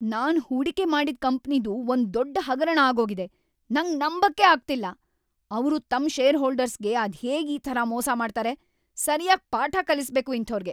ನಾನ್ ಹೂಡಿಕೆ ಮಾಡಿದ್ ಕಂಪನಿದು ಒಂದ್‌ ದೊಡ್ಡ್ ಹಗರಣ‌ ಆಗೋಗಿದೆ. ನಂಗ್‌ ನಂಬಕ್ಕೇ ಆಗ್ತಿಲ್ಲ.. ಅವ್ರು ತಮ್ ಷೇರ್‌ಹೋಲ್ಡರ್ಸ್‌ಗೆ ಅದ್ಹೇಗ್‌ ಈ ಥರ ಮೋಸ ಮಾಡ್ತಾರೆ? ಸರ್ಯಾಗ್ ಪಾಠ ಕಲಿಸ್ಬೇಕು ಇಂಥೋರ್ಗೆ.